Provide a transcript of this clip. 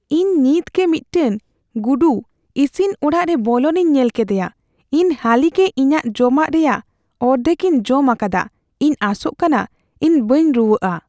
ᱤᱧ ᱱᱤᱛᱜᱮ ᱢᱤᱫᱴᱟᱝ ᱜᱩᱰᱩ ᱤᱥᱤᱱ ᱚᱲᱟᱜ ᱨᱮ ᱵᱚᱞᱚᱱᱤᱧ ᱧᱮᱞ ᱠᱮᱫᱮᱭᱟ ᱾ ᱤᱧ ᱦᱟᱹᱞᱤᱜᱮ ᱤᱧᱟᱹᱜ ᱡᱚᱢᱟᱜ ᱨᱮᱭᱟᱜ ᱚᱨᱫᱷᱮᱠᱤᱧ ᱡᱚᱢ ᱟᱠᱟᱫᱼᱟ ᱾ ᱤᱧ ᱟᱥᱚᱜ ᱠᱟᱱᱟ ᱤᱧ ᱵᱟᱹᱧ ᱨᱩᱣᱟᱹᱜᱼᱟ ᱾